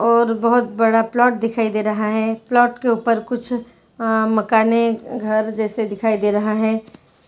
और बहुत बड़ा प्लॉट दिखाई दे रहा है प्लॉट के उपर कुछ अं मकानें घर जैसे दिखाई दे रहा है